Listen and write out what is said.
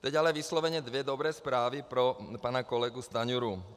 Teď ale vysloveně dvě dobré zprávy pro pana kolegu Stanjuru.